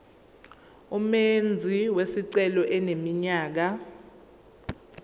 umenzi wesicelo eneminyaka